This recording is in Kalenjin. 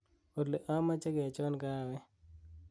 olly amoje kechon kahawek